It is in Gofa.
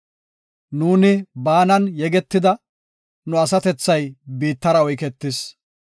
Nuuni baanan yegetida; nu asatethay biittara oyketis.